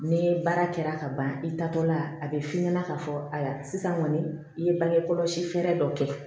Ni baara kɛra ka ban i taatɔ la a bɛ f'i ɲɛna k'a fɔ ayiwa sisan kɔni i ye bange kɔlɔsi fɛɛrɛ dɔ kɛ